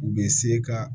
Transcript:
U bɛ se ka